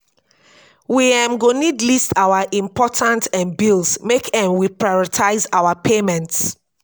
we um go need list our important um bills make um we prioritize our payments